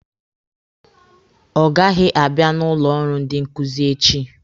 Ọ gaghị abịa n'ụlọ ọrụ ndị nkuzi echi.